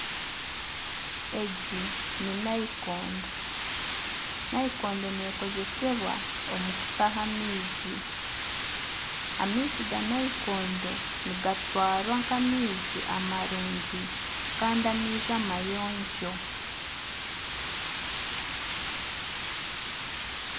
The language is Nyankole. Egi ni nayikondo nekozesebwa omu kutaha amaizi . Amaizi ga nayikondo nigatwarwa nk'amaizi amarungi Kandi amayonjo.